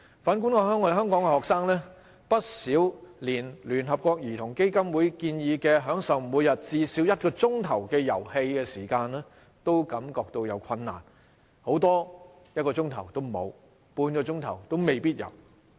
反觀香港的學生，他們不少連聯合國兒童基金會建議，享受每天至少1小時的遊戲時間也感到困難，很多甚至1小時也沒有，半小時也未必有。